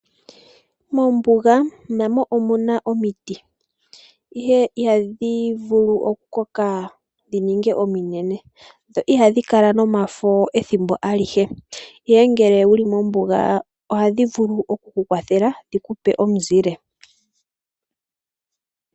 Mombuga namo omuna omiti, ihe ihadhi vulu okukoka dhininge ominene dho ihadhi kala nomafo ethimbo alihe , ihe ngele wuli mombuga ohadhi vulu oku kukwathela dhikupe omuzile.